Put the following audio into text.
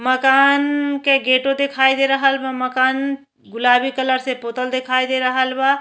मकान के गेटाे दिखाई दे रहल बा मकान गुलाबी कलर से पोतल दिखाई दे रहल बा।